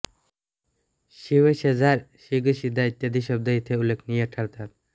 शींव शेजार शीग शीधा इत्यादी शब्द इथे उल्लेखनीय ठरतात